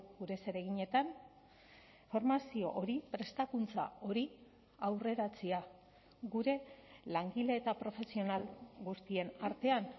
gure zereginetan formazio hori prestakuntza hori aurreratzea gure langile eta profesional guztien artean